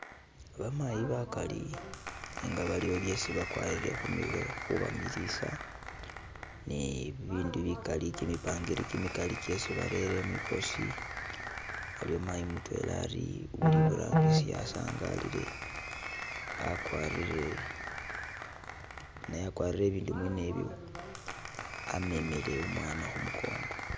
Bamayi bakali nenga baliwo byesi bakwarire khumirwe khubamilisa ne bibindi bikaali , kimipangiri kimikaali kyesi barere mwikosi, aliwo mayi mutwela ali iburangisi asangalile akwarire, naye akwarire ibindu mwene ibyo amemele umwana khumukongo.